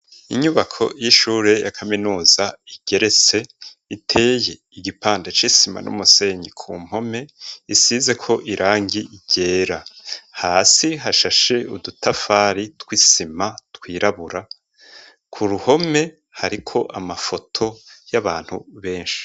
Inyubako y'ishure ya kaminuza igeretse .Iteye igipanda c'isima n'umusenyi ku mpome isize ko irangi igera hasi hashashe udutafari tw'isima twirabura ku ruhome hariko amafoto y'abantu benshi.